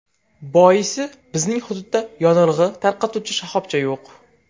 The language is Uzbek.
Boisi, bizning hududda yonilg‘i tarqatuvchi shoxobcha yo‘q.